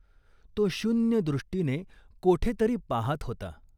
तो शून्य दृष्टीने कोठे तरी पाहात होता !